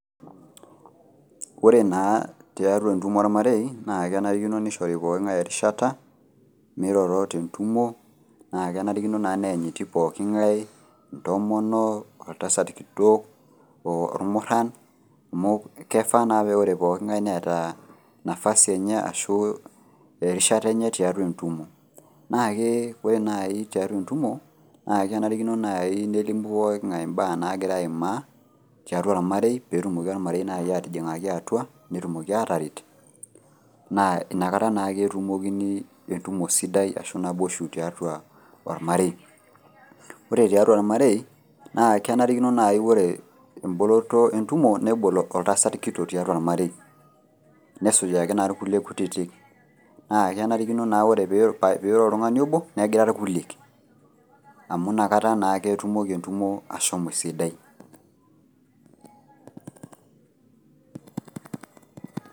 Oore na tiatua entumo ormarei, naa kenarikino neishori pooki ng'ae erishata, meiroro tentumo, naa kenarikino naa neanyiti pooki ng'ae, intomonok, oltasat kitok, irmuran amuu keifaa naa naa oore pooki ng'ae neeta nafasi eenye arashu erishata eenye tiatua entumo. Naake ore naai tiatua entumo, naa kenarikino naaji nelimu pooki ng'ae imbaa nagira aimaa, tiatua ormarei peyie etumoki ormarei naaji atijing'aki atua netumoki ataret, naa inakata naake etumokini entumo sidai arashu naboisho tiatua ormarei. Ore tiatua ormarei kenarikino naaji naa oore emboloto entumo nebol oltasat kitok tiatua ormarei, nesujaki taa irkulie kutitik naa kenarikino naa teneiro oltung'ani oobo negira irkulie amuu inkata naake etumoki entumo ashomo esidai.